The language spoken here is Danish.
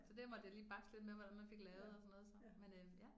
Så det måtte jeg lige bakse lidt med hvordan man fik lavet og sådan noget så men øh ja